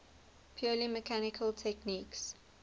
purely mechanical techniques